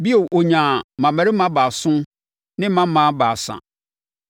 Bio ɔnyaa mmammarima baason ne mmammaa baasa.